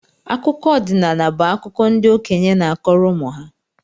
Akụkọ ọdinaala bu akụkọ ndị okenye na-akọrọ ụmụ ha